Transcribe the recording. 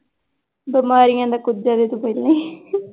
ਬਿਮਾਰੀਆਂ ਦਾ ਕੁੱਜਾ ਤੇ ਤਾਂ ਤੂੰ ਪਹਿਲਾਂ ਹੀ ਹੈ